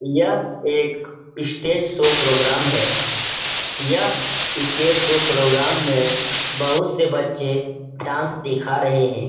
यह एक stage show program है। यह स्टेज शो प्रोग्राम में बहुत से बच्चे डांस दिखा रहे हैं।